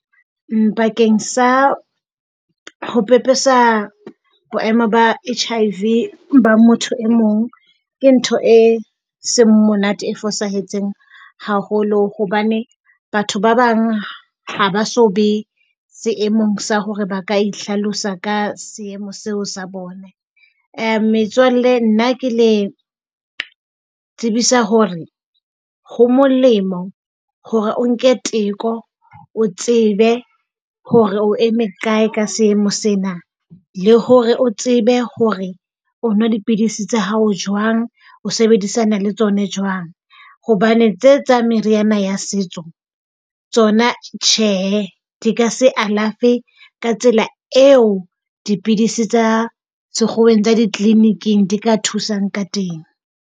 Bakeng sa ho pepesa boemo ba HIV ba motho e mong ke ntho e seng monate. E fosahetseng haholo, hobane batho ba bang ha ba so be seemong sa hore ba ka itlhalosa ka seemo seo sa bona. Metswalle, nna ke le tsebisa hore ho molemo hore o nke teko, o tsebe hore o eme kae ka seemo sena le hore o tsebe hore o nwa dipidisi tsa hao jwang, o sebedisana le tsona jwang, hobane tse tsa meriana ya setso, tsona tjhe. di ka se alafe ka tsela eo dipidisi tsa sekgoweng tsa di-clinic-ing di ka thusang ka teng.